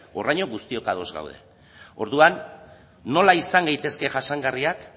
horraino guztiok ados gaude orduan nola izan gaitezke jasangarriak